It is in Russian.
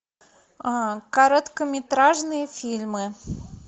короткометражные фильмы